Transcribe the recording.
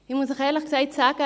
Ich muss Ihnen ehrlich sagen: